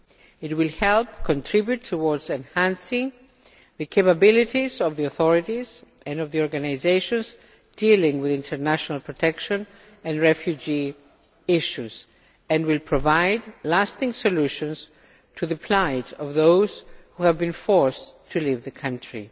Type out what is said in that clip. It will help enhance the capabilities of the authorities and of the organisations dealing with international protection and refugee issues and will provide lasting solutions as regards the plight of those who have been forced to leave the country.